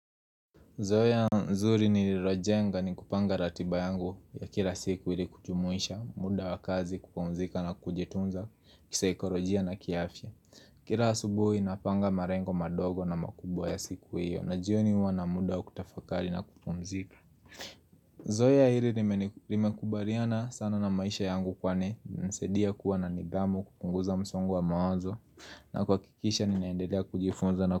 Zoea nzuri nililojenga ni kupanga ratiba yangu ya kila siku ili kujumuisha, muda wa kazi kupumzika na kujitunza, kisaikolojia na kiafya. Kila subuhi napanga malengo madogo na makubwa ya siku hiyo na jioni huwa na muda wa kutafakari na kupumzika. Zoea hili limekubaliana sana na maisha yangu kwani hunisaidia kuwa na nidhamu kupunguza msongo wa mawazo na kuhakikisha ninaendelea kujifunza na.